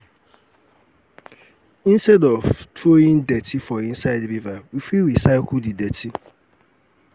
instead of throwing dirty for inside river we fit recycle di dirty